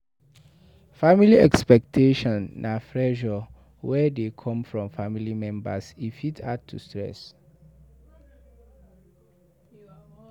Family expectation na pressure wey dey come from family members, e fit add to stress